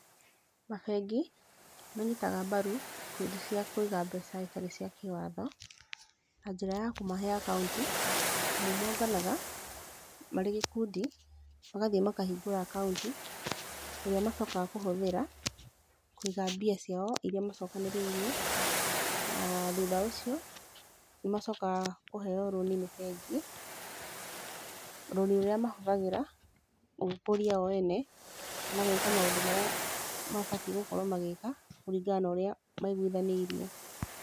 Mabengi, nĩ manyitaga mbaru ikundi cia kũiga mbeca itarĩ cia kĩwatho, na njĩra ya kũmahe akaunti. Amu monganaga, marĩ gĩkundi, magathiĩ makahingũra akaunti, ĩrĩa macokaga kũhũthĩra, kũiga mbia ciao irĩa macokanĩrĩirie. Na thutha ũcio, nĩ macokaga kũheeo rũni nĩ bengi, rũni rũrĩa mahũthagĩra gwĩkũria o ene, kana gwĩka maũndũ marĩa mabatiĩ gũkorwo magĩĩka kũringana na ũrĩa maiguithanĩirie.